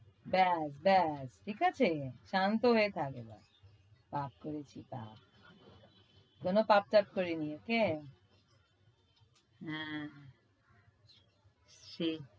দেখ দেখ ঠিক আছে? শান্ত হয়ে থাক এবার। পাপ করেছি পাপ। কোন পাপ টাপ করিনি, okay? হ্যাঁ। সে~